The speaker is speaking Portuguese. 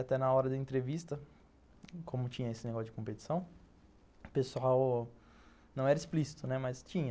Até na hora da entrevista, como tinha esse negócio de competição, o pessoal não era explícito, né, mas tinha.